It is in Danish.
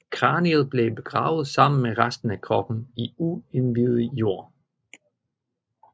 Kraniet blev begravet sammen med resten af kroppen i uindivet jord